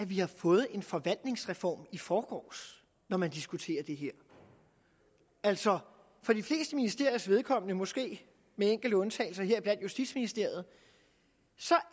vi har fået en forvaltningsreform i forgårs når man diskuterer det her altså for de fleste ministeriers vedkommende måske med enkelte undtagelser heriblandt justitsministeriet